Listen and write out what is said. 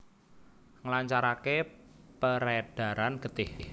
Nglancaraké perédaran getih